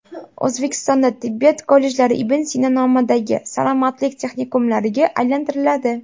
O‘zbekistonda tibbiyot kollejlari Ibn Sino nomidagi salomatlik texnikumlariga aylantiriladi.